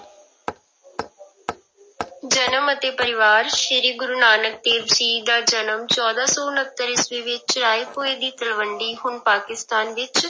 ਜਨਮ ਅਤੇ ਪਰਿਵਾਰ ਸ੍ਰੀ ਗੁਰੂ ਨਾਨਕ ਦੇਵ ਜੀ ਦਾ ਜਨਮ ਚੌਦਾਂ ਸੌ ਉਣਤਰ ਈਸਵੀ ਵਿੱਚ ਰਾਏਭੋਇ ਦੀ ਤਲਵੰਡੀ ਹੁਣ ਪਾਕਿਸਤਾਨ ਵਿੱਚ